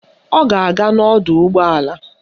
Ọ ga-aga n'ọdọụgbọala